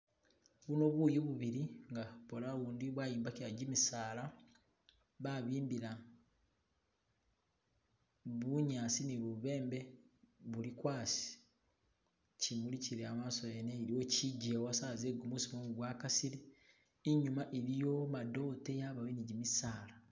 Buno buyu bubili nga bona ubundi bwayombakibwa kimisala , babimbila bunyasi ni bubembe buli kwasi. kimuli kili amaso yene iliwo kijewa sawa ze gumusi kumumu gwa kasile , inyuma iliyo madote yabowe ne jimisala.